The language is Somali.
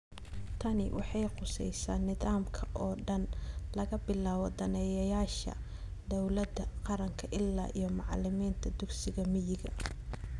Tani waxay khusaysaa nidaamka oo dhan, laga bilaabo daneeyayaasha dawladda qaranka ilaa iyo macalimiinta dugsiyada miyiga.